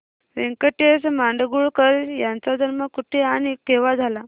व्यंकटेश माडगूळकर यांचा जन्म कुठे आणि केव्हा झाला